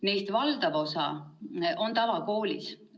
Neist valdav osa on tavakoolis.